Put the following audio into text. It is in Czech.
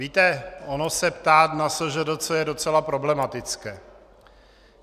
Víte, ono se ptát na SŽDC je docela problematické.